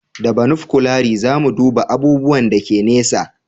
Da banofkulari za mu duba abubuwan da ke nesa